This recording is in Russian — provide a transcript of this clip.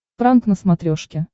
пранк на смотрешке